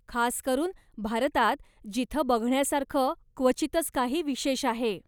खास करून भारतात, जिथं बघण्यासारखं क्वचितच काही विशेष आहे!